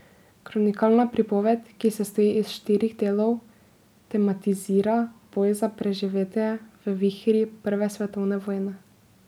Kronikalna pripoved, ki sestoji iz štirih delov, tematizira boj za preživetje v vihri prve svetovne vojne.